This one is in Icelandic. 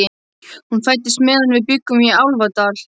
Hún fæddist meðan við bjuggum í Álfadal.